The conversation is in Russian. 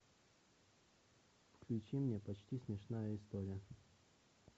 включи мне почти смешная история